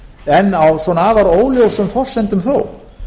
en á svona afar óljósum forsendum þó